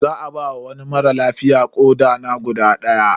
Za ba wa wani mara lafiya koɗa na guda daya.